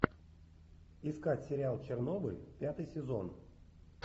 искать сериал чернобыль пятый сезон